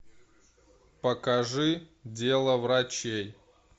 покажи дело врачей